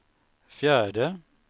fjärde